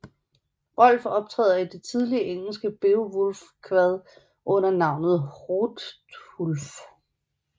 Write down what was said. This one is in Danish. Rolf optræder i det tidlige engelske Beowulfkvad under navnet Hrothulf